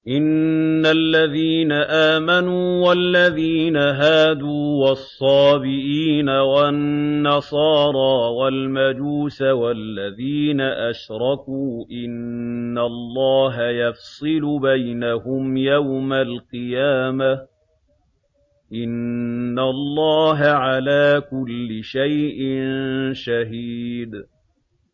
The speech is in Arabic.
إِنَّ الَّذِينَ آمَنُوا وَالَّذِينَ هَادُوا وَالصَّابِئِينَ وَالنَّصَارَىٰ وَالْمَجُوسَ وَالَّذِينَ أَشْرَكُوا إِنَّ اللَّهَ يَفْصِلُ بَيْنَهُمْ يَوْمَ الْقِيَامَةِ ۚ إِنَّ اللَّهَ عَلَىٰ كُلِّ شَيْءٍ شَهِيدٌ